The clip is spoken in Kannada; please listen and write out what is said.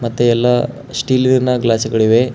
ಎಲ್ಲಾ ಸ್ಟೀಲ್ ವೇರ್ ನ ಗ್ಲಾಸುಗಳಿವೆ.